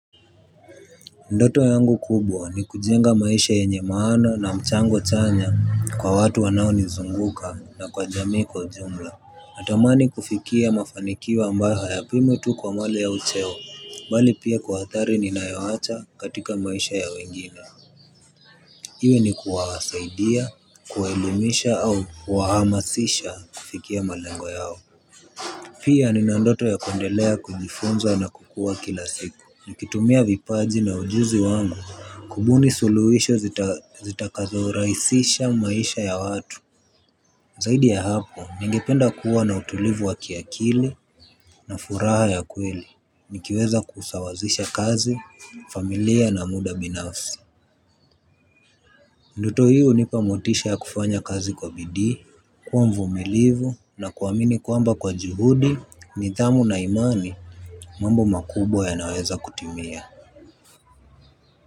Ndoto yangu kubwa ni kujenga maisha yenye maana na mchango chanya kwa watu wanao nizunguka na kwa jamii kwa jumla. Natamani kufikia mafanikiwa ambayo hayapimwi tu kwa mwale ya ucheo, bali pia kuhathari ninayowacha katika maisha ya wengine. Iwe ni kuwasaidia, kuwaelimisha au kuhamasisha kufikia malengo yao. Pia nina ndoto ya kundelea kujifunza na kukua kila siku. Nikitumia vipaji na ujuzi wangu kubuni suliwisho zitakazo raisisha maisha ya watu. Zaidi ya hapo ningependa kuwa na utulivu wa kiakili na furaha ya kweli nikiweza kusawazisha kazi familia na muda binafsi. Ndoto hio unipa motisha ya kufanya kazi kwa bidii. Kuwa mvumilivu na kuwamini kwamba kwa juhudi nithamu na imani mambo makubwa yanaweza kutimia.